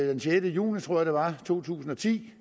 den sjette juni to tusind og ti